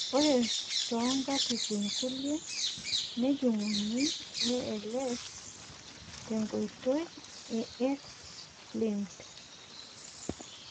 ore too nkatitin kulie kejunguni ALS te nkoitoi e X linked.